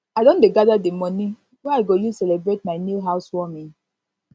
i don dey gather the money wey i go use celebrate my new house warming